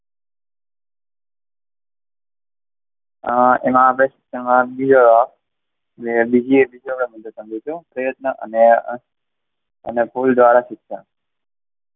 અમ એમાં આપણે અને બીજી એક પ્રયત્ન અને ફુલ દ્વારા શિક્ષણ.